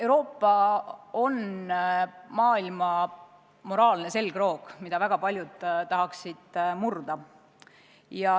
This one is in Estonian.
Euroopa on maailma moraalne selgroog, mida väga paljud tahaksid murda.